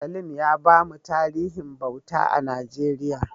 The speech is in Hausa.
Salim ya bamu tarihin bauta a Najeriya.